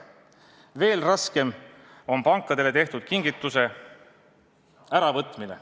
Veel raskem on pankadele tehtud kingituse äravõtmine.